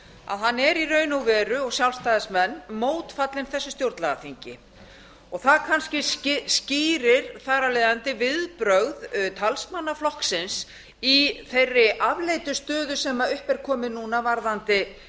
að hann er í raun og veru og sjálfstæðismenn mótfallinn þessu stjórnlagaþingi það kannski skýrir þar af leiðandi viðbrögð talsmanna flokksins í þeirri afleitu stöðu sem upp er komin núna